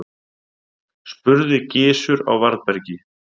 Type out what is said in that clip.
spurði Gizur á varðbergi.